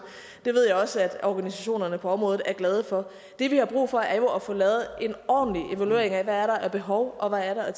det ved jeg også at organisationerne på området er glade for det vi har brug for er jo at få lavet en ordentlig evaluering af hvad der er af behov og hvad der er